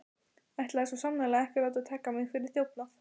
Ætlaði svo sannarlega ekki að láta taka mig fyrir þjófnað.